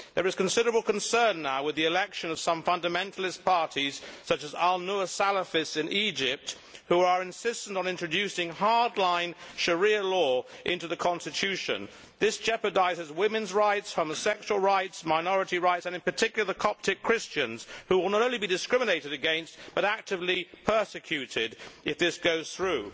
There is now considerable concern, with the election of some fundamentalist parties such as the Salafist al Nour party in Egypt, which are insistent on introducing hard line Sharia law into the Constitution. This jeopardises women's rights, homosexual rights, minority rights and, in particular, the rights of Coptic Christians, who will not only be discriminated against, but actively persecuted if this goes through.